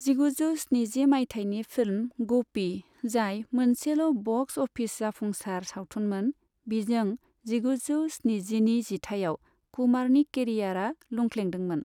जिगुजौ स्निजि माइथायनि फिल्म 'गोपी' जाय मोनसेल' बक्स अफिस जाफुंसार सावथुनमोन बिजों जिगुजौ स्निजिनि जिथाइयाव कुमारनि केरियारआ लुंख्लेंदोंमोन।